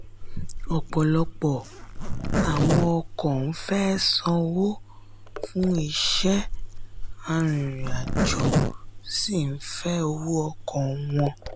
ọpọlọpọ àwọn ọkọ ń fẹ sanwó fún iṣẹ́ arìnrìn-àjò sì ń fẹ owó ọkọ wọn.